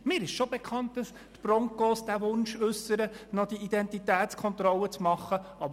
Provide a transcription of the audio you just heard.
Mir ist bekannt, dass die Broncos den Wunsch äussern, noch Identitätskontrollen machen zu dürfen.